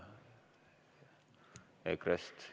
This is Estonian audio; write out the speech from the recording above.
Keegi EKRE-st?